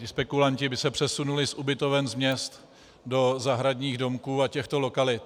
Ti spekulanti by se přesunuli z ubytoven měst do zahradních domků a těchto lokalit.